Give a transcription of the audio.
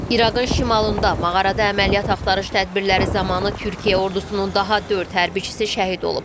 İraqın şimalında mağarada əməliyyat axtarış tədbirləri zamanı Türkiyə ordusunun daha dörd hərbçisi şəhid olub.